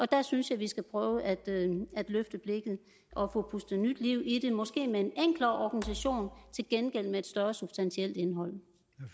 der synes jeg vi skal prøve at løfte blikket og få pustet nyt liv i det måske med en enklere organisation til gengæld med et større substantielt indhold